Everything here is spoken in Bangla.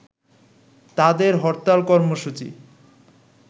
তাদের হরতাল কর্মসূচি